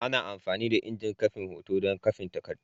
Ana amfani da injin kwafin hoto don kwafin takardu.